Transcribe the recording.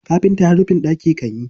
Kafinta har rufin ɗaki kan yi.